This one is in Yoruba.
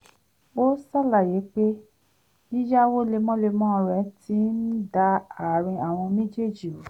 ó ṣàlàyé pé yíyáwó lemọ́lemọ́ rẹ̀ ti ń da àárín àwọn méjèèjì rú